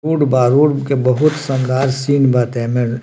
के बहुत संघर्ष सीन बाटे एमे।